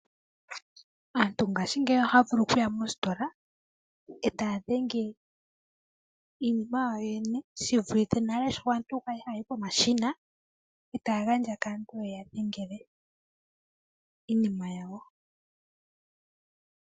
Aantu ngaashingeyi ohayavulu ojuya moositola etaya dhenge iinima yawo shi vulithe aantu nale shoka kwali hayayi etaya gandja kaantu yeya dhengele iinima yawo.